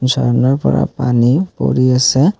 ঝৰ্ণাৰ পৰা পানী পৰি আছে।